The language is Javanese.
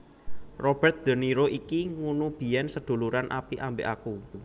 Robert de Niro iki ngunu biyen seduluran apik ambek aku